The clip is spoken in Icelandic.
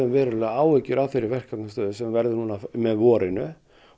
verulegar áhyggjur af þeirri verkefnastöðu sem verður núna með vorinu